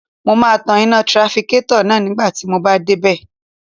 Mo máa tan iná tirafikétọ̀ náà nígbà tí mo bá dé bẹ̀